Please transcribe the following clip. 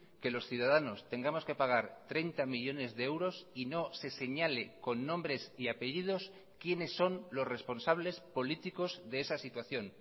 que los ciudadanos tengamos que pagar treinta millónes de euros y no se señale con nombres y apellidos quiénes son los responsables políticos de esa situación